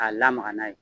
A lamaga n'a ye